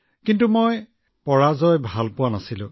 গতিকে হাৰি ভাল নালাগিল